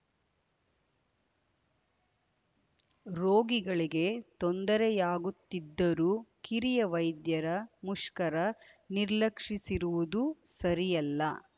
ರೋಗಿಗಳಿಗೆ ತೊಂದರೆಯಾಗುತ್ತಿದ್ದರೂ ಕಿರಿಯ ವೈದ್ಯರ ಮುಷ್ಕರ ನಿರ್ಲಕ್ಷಿಸಿರುವುದು ಸರಿಯಲ್ಲ